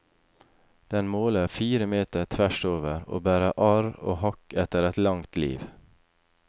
Den måler fire meter tvers over, og bærer arr og hakk etter et langt liv.